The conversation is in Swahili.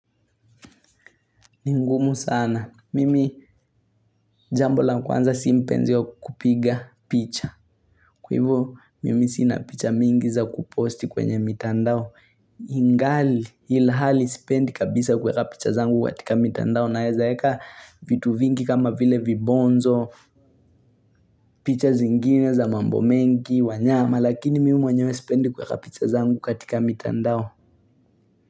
Ni ngumu sana. Mimi jambo la kwanza si mpenzi wa kupiga picha. Kwa hivo, mimi sina picha mingi za kuposti kwenye mitandao. Ingali ilhali sipendi kabisa kuweka picha zangu katika mitandao naeza eka vitu vingi kama vile vibonzo, picha zingine za mambo mengi, wanyama, lakini mimi mwenyewe sipendi kuweka picha zangu katika mitandao.